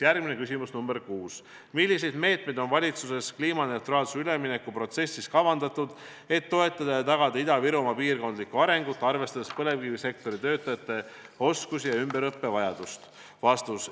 Järgmine küsimus, nr 6: "Milliseid meetmeid on valitsus kliimaneutraalsusele ülemineku protsessis kavandanud, et toetada ja tagada Ida-Virumaa piirkondlikku arengut, arvestades põlevkivisektori töötajate oskusi ja ümberõppe vajadusi?